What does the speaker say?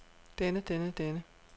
denne denne denne